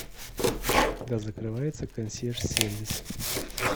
когда закрывается консьерж сервис